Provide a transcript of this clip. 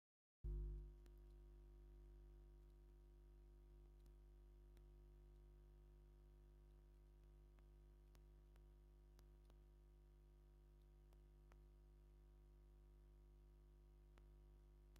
እዛ መኪና ብፍሉይ መንገዲ ዝተሰለመት እያ። ኣብታ መኪና ዘሎ ስልማት ደስ ዘብልን ፍሉይን ስምዒት ይፈጥር። ከምዚ ዝበለ ዝተሸለመት መኪና ክትርኢ ከለኻ እንታይ ይስምዓካ?